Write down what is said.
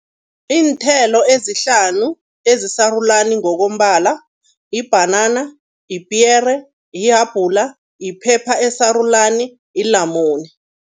Iinthelo ezihlanu ezisarulani ngokombala, yibhanana, yipiyere, yihabhula, yiphepha esarulani, yilamune.